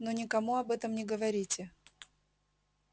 но никому об этом не говорите